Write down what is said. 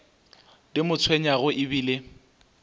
di mo tshwenyago e bile